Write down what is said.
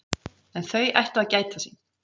En þau ættu að gæta sín.